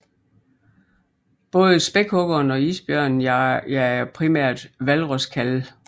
Både spækhuggeren og isbjørnen jager primært hvalroskalve